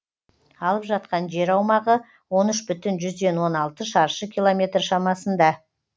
алып жатқан жер аумағы он үш бүтін жүзден он алты шаршы километр шамасында